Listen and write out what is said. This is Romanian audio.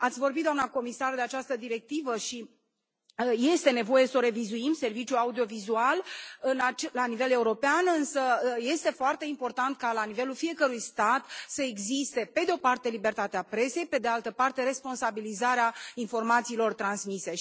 Ați vorbit doamna comisar de această directivă și este nevoie să revizuim serviciul audiovizual la nivel european, însă este foarte important ca la nivelul fiecărui stat să existe, pe de o parte, libertatea presei, pe de altă parte, responsabilizarea informațiilor transmise.